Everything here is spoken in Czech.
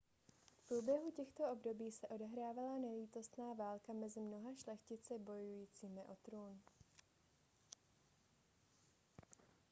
v průběhu těchto období se odehrávala nelítostná válka mezi mnoha šlechtici bojujícími o trůn